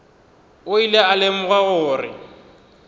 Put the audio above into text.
o ile a lemoga gore